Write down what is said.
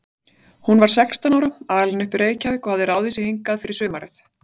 Hún var sextán ára, alin upp í Reykjavík og hafði ráðið sig hingað fyrir sumarið.